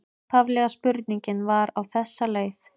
Upphaflega spurningin var á þessa leið: